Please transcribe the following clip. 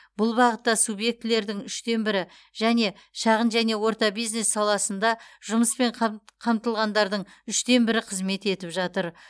бұл бағытта субъектілердің үштен бірі және шағын және орта бизнес саласында жұмыспен қамт қамтылғандардың үштен бірі қызмет етіп жатыр